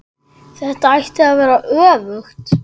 Þetta ætti að vera öfugt.